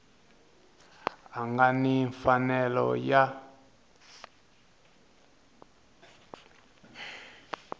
a nga ni mfanelo ya